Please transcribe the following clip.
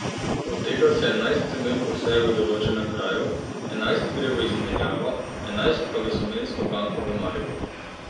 Od tega se enajst semen poseje v določenem kraju, enajst jih gre v izmenjavo, enajst pa v semensko banko v Mariboru.